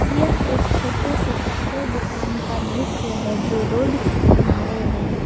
यह एक छोटे से कपड़े दुकान का दृश्य है जो रोड के किनारे है।